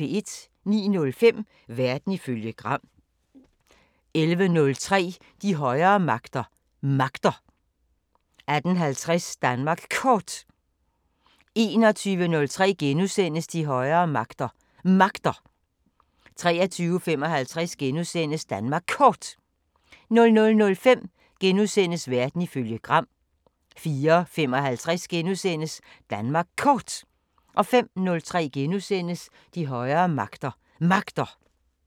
09:05: Verden ifølge Gram 11:03: De højere magter: Magter 18:50: Danmark Kort 21:03: De højere magter: Magter * 23:55: Danmark Kort * 00:05: Verden ifølge Gram * 04:55: Danmark Kort * 05:03: De højere magter: Magter *